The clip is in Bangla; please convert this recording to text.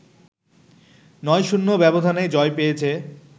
৯-০ ব্যবধানে জয় পেয়েছে